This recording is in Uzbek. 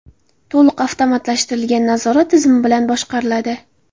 To‘liq avtomatlashtirilgan nazorat tizimi bilan boshqariladi.